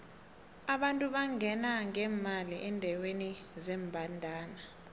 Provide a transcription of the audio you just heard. abantu bangena ngemali endeweni zembandana